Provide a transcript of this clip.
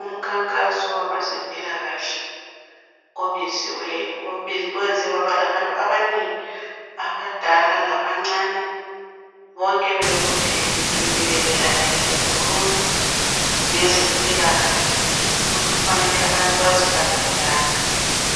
Umkhankaso wabezempilakahle obiziweyo owenze kwaba labantu abanengi, abadala, labancane bonke bebuthene bemile belalele kukhulunywa ngezempilakhahle ukuthi kufanele abantu baziphathe njani,